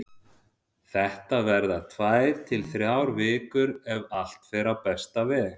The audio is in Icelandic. Þetta verða tvær til þrjár vikur ef allt fer á besta veg.